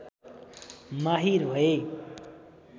माहिर भए